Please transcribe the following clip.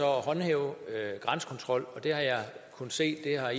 håndhæve grænsekontrol og det har jeg kunnet se har